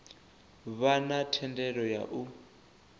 vha na thendelo ya u